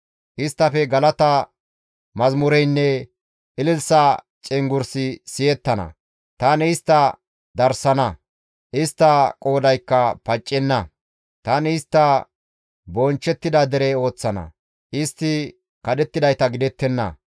Isttafe galata mazamureynne ilili1sa cenggurssi siyettana; Tani istta darssana; istta qoodaykka paccenna; tani istta bonchchettida dere ooththana; istti kadhettidayta gidettenna.